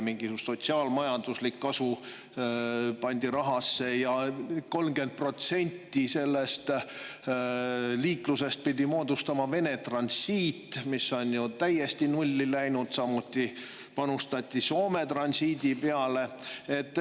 Mingisugune sotsiaal-majanduslik kasu pandi rahasse, 30% sellest liiklusest pidi moodustama Vene transiit, mis on ju täiesti nulli läinud, samuti panustati Soome transiidi peale.